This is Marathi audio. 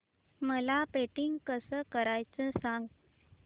मला पेंटिंग कसं करायचं सांग